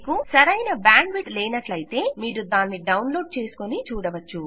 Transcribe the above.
మీకు సరైన బ్యాండ్విడ్త్ లేనట్లయితే మీరు దానిని డౌన్లోడ్ చేసుకొని చూడవచ్చు